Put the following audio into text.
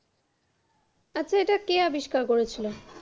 আচ্ছা, এটা কে আবিস্কার করে ছিল?